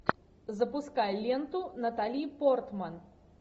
запускай ленту натали портман